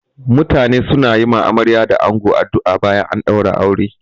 Mutane suna yi wa amarya da ango addu'a bayan an ɗaura aure.